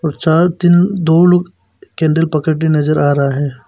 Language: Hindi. चार तीन दो लोग कैंडल पकड़े नजर आ रहा है।